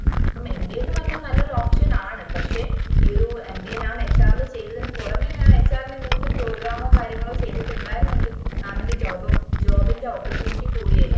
ഇപ്പം mba പറഞ്ഞാൽ നല്ല ഒരു option ആണ് പക്ഷെ ഈ ഒരു mbamamhr ചെയ്തതിന് പൊറമെ mamhr എന്തെങ്കിലും program ഓ കാര്യങ്ങളോ ചെയ്‌തിട്ടുണ്ടായിരുന്നെങ്കിൽ mam ന് job job ന്റെ opportunity കൂടിയേനെ